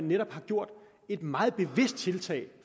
netop har gjort et meget bevidst tiltag